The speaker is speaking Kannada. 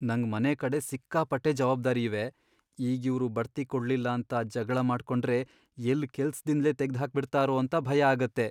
ನಂಗ್ ಮನೆಕಡೆ ಸಿಕ್ಕಾಪಟ್ಟೆ ಜವಾಬ್ದಾರಿ ಇವೆ, ಈಗ್ ಇವ್ರ್ ಬಡ್ತಿ ಕೊಡ್ಲಿಲ್ಲ ಅಂತ ಜಗ್ಳ ಮಾಡ್ಕೊಂಡ್ರೆ ಎಲ್ಲ್ ಕೆಲ್ಸ್ದಿಂದ್ಲೇ ತೆಗ್ದ್ಹಾಕ್ಬಿಡ್ತಾರೋ ಅಂತ ಭಯ ಆಗತ್ತೆ.